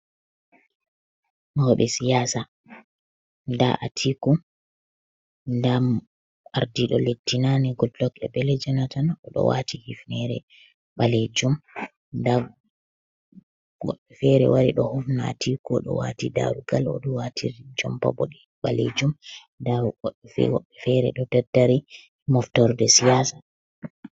Mauɓe siyaasa, ndaa Atiku, ndaa ardido leddi naane Goodluck Ebele Jonathan oɗo waati hifnoore ɓaleejum. Nda goɗɗo feere wari ɗo hufna Atiku, oɗo waati daarugal oɗo waati jompa ɓaleejum nda yimɓe feere ɗo daddari haa moftirde siyaasa.